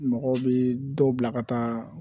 Mɔgɔw bɛ dɔw bila ka taa